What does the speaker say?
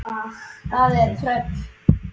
Það er tröll.